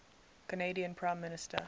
canadian prime minister